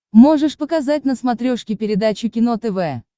можешь показать на смотрешке передачу кино тв